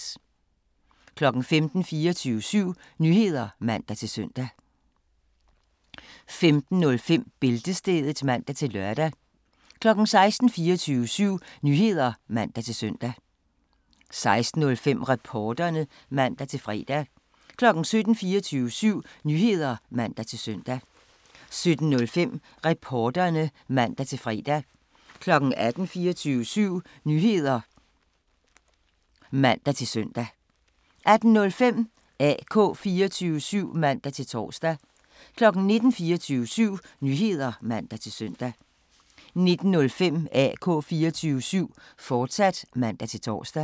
15:00: 24syv Nyheder (man-søn) 15:05: Bæltestedet (man-lør) 16:00: 24syv Nyheder (man-søn) 16:05: Reporterne (man-fre) 17:00: 24syv Nyheder (man-søn) 17:05: Reporterne (man-fre) 18:00: 24syv Nyheder (man-søn) 18:05: AK 24syv (man-tor) 19:00: 24syv Nyheder (man-søn) 19:05: AK 24syv, fortsat (man-tor)